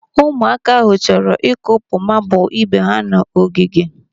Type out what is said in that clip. Ụmụaka ahụ chọrọ ịkụpụ mabụlụ ibe ha n'ogige.